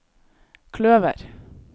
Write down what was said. kløver